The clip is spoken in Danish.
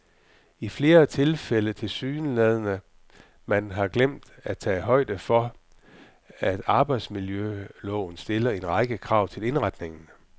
I flere tilfælde tilsyneladende man har glemt at tage højde for, at arbejdsmiljøloven stiller en række krav til indretningen.